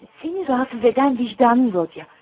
Səni narahat edən vicdanındır, Rodiya.